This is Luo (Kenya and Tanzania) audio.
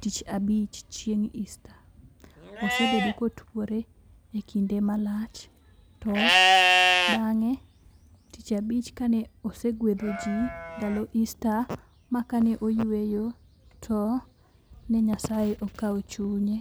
tich abich chieng' easter. Osebedo kotuore kinde malach to bang'e , tich abich kane osegwedho jii ndalo easter ma kane oyueyo to ne nyasaye okawo chunye.